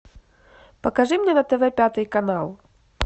покажи мне на тв пятый канал